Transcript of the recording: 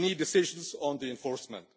We need decisions on enforcement.